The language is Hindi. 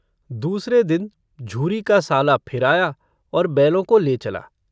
दूसरे दिन झूरी का साला फिर आया और बैलों को ले चला।